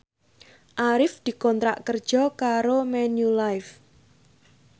Arif dikontrak kerja karo Manulife